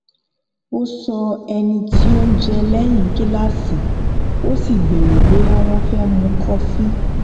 ó sọ ẹni tí òun jẹ lẹyìn kíláàsì ó sì béèrè bóyá wón fẹ mu kọfì